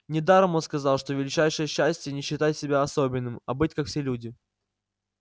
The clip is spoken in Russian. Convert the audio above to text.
недаром он сказал что величайшее счастье не считать себя особенным а быть как все люди